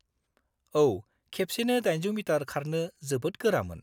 औ, खेबसेनो 800 मिटार खारनो जोबोद गोरामोन।